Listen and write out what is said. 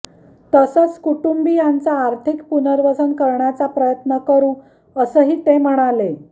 तसंत कुटुंबीयांचं आर्थिक पुनर्वसन करण्याचा प्रयत्न करु असंही ते म्हणाले